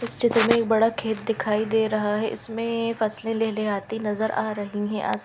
इस चित्र में एक बड़ा खेत दिखाई दे रहा है इसमें फसले लेले आती नज़र आ रही है अस--